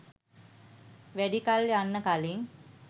වැඩි කල් යන්න කලින්